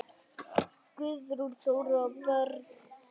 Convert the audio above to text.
Guðrún Þóra og börn.